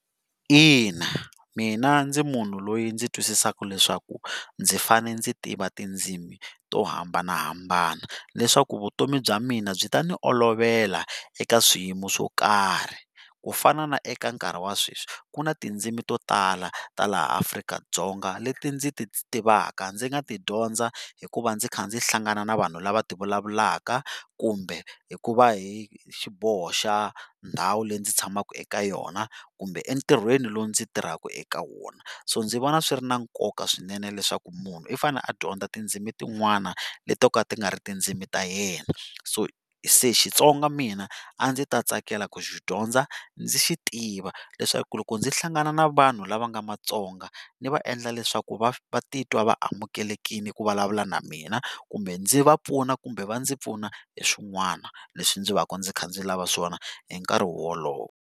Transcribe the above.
Ina mina ndzi munhu loyi ndzi twisisaka leswaku ndzi fane ndzi tiva tindzimi to hambanahambana leswaku vutomi bya mina byi ta ni olovela eka swiyimo swo karhi ku fana na eka nkarhi wa sweswi ku ni tindzimi to tala ta laha Afrika-Dzonga leti ndzi ti tivaka ndzi nga ti dyondza hikuva ndzi kha ndzi hlangana na vanhu lava ti vulavulaka kumbe hikuva hi xiboho xa ndhawu leyi ndzi tshamaka eka yona kumbe entirhweni lowu ndzi tirhaka eka wona. So ndzi vona swi ri na nkoka swinene leswaku munhu i fane a dyondza tindzimi tin'wana leti to ka ti nga ri tindzimi ta yena. So se Xitsonga mina a ndzi ta tsakela ku xi dyondza ndzi xi tiva leswaku loko ndzi hlangana ni vanhu lava nga Matsonga ni va endla leswaku vatitwa va amukelekile ku vulavula na mina kumbe ndzi va pfuna kumbe va ndzi pfuna hi swin'wana leswi ndzi va ka ndzi kha ndzi lava swona hi nkarhi wolowo.